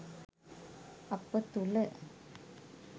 අප තුළ